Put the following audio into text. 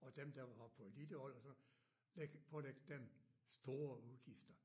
Og dem der var på elitehold og sådan lægge pålægge dem store udgifter